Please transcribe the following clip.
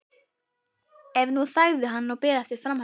En nú þagði hann og beið eftir framhaldinu.